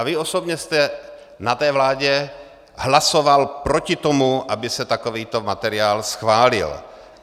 A vy osobně jste na té vládě hlasoval proti tomu, aby se takovýto materiál schválil?